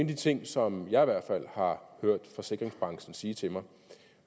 de ting som jeg i hvert fald har hørt forsikringsbranchen sige til mig